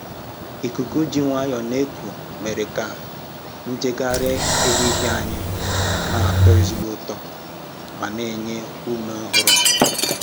Ikuku ji nwayọọ na-eku mere ka njegharị ehihie anyị na-atọ ezigbo ụtọ ma na-enye ume ọhụrụ.